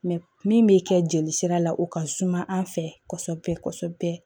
min bɛ kɛ jelisira la o ka suma an fɛ kɔsɔbɛ kɔsɔbɛ